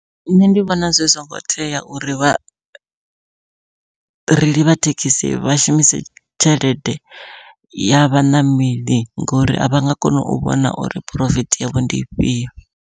Nṋe ndi vhona zwi songo tea uri vhareili vha thekhisi vha shumise tshelede ya vhaṋameli ngori avha nga koni u vhona uri phurofiti yavho ndi ifhio.